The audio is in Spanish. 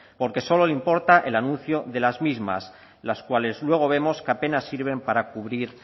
porque solo le importa el anuncio de las mismas las cuales luego vemos que apenas sirven para cubrir